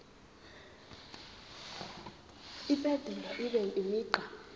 impendulo ibe imigqa